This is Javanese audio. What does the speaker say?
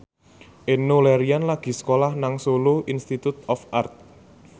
Enno Lerian lagi sekolah nang Solo Institute of Art